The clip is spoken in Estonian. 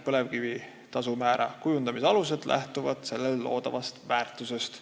Põlevkivi kavandamisõiguse tasumäärade kujundamise alused lähtuvad põlevkivi abil loodavast väärtusest.